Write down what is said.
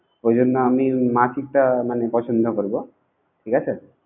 এজন্য আমি মাসিকটা মানে পছন্দ করব, ঠিক আছে